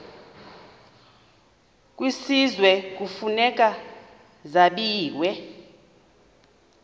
kwisizwe kufuneka zabiwe